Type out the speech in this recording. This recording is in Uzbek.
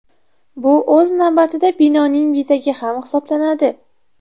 Bu o‘z navbatida binoning bezagi ham hisoblanadi.